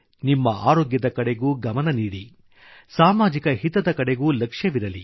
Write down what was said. ನಿಮ್ಮ ಆರೋಗ್ಯದ ಕಡೆಗೂ ಗಮನ ನೀಡಿ ಸಾಮಾಜಿಕ ಹಿತದ ಕಡೆಗೂ ಲಕ್ಷ್ಯವಿರಲಿ